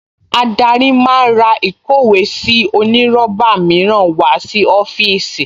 Adarí máa ra ìkówèésí onírọ́bà mìíràn wá sí ọ́fíìsì